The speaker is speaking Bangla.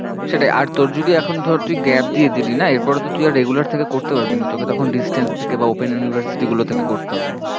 সেটাই আর তোর যদি এখন ধর তুই gap দিয়ে দিলি না এর পরে তো তুই আর regular থেকে করতে পারবি না, তোকে তখন distance থেকে বা open university গুলো থেকে করতে হবে।